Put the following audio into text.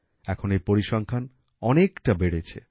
এখন এই পরিসংখ্যান অনেকটা বেড়েছে